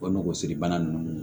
O nogosiri bana ninnu